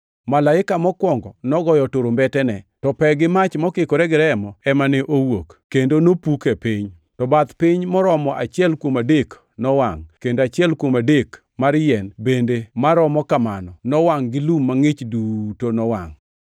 Malaika mokwongo nogoyo turumbetene, to pe gi mach mokikore gi remo ema ne owuok, kendo nopuk e piny. To bath piny moromo achiel kuom adek nowangʼ, kendo achiel kuom adek mar yien bende maromo kamano nowangʼ gi lum mangʼich duto nowangʼ.